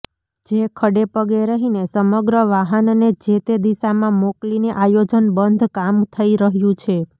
જે ખડે પગે રહીને સમગ્ર વાહનને જેતે દિશામાં મોકલીને આયોજન બંધ કામ થઈ રહ્યું છે